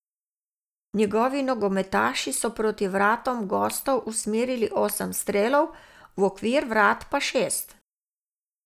Njegovi nogometaši so proti vratom gostov usmerili osem strelov, v okvir vrat pa šest.